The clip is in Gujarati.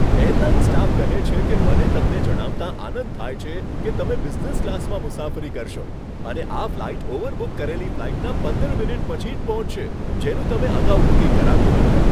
એરલાઇન સ્ટાફ કહે છે કે, મને તમને જણાવતાં આનંદ થાય છે કે તમે બિઝનેસ ક્લાસમાં મુસાફરી કરશો અને આ ફ્લાઇટ ઓવરબુક કરેલી ફ્લાઇટના પંદર મિનિટ પછી જ પહોંચશે, જેનું તમે અગાઉ બુકિંગ કરાવ્યું હતું.